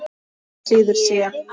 Nema síður sé.